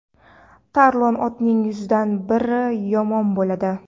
tarlon otning yuzdan biri yomon bo‘ladi.